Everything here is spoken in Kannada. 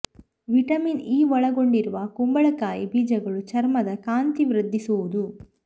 ವಿಟಮಿನ್ ಇ ಒಳಗೊಂಡಿರುವ ಕುಂಬಳಕಾಯಿ ಬೀಜಗಳು ಚರ್ಮದ ಕಾಂತಿ ವೃದ್ಧಿ ಸುವುದು